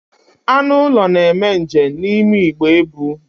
Anụ ụlọ na-eme njem n'ime igbe ebu.